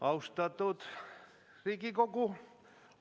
Austatud Riigikogu!